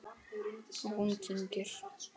Og hún kyngir.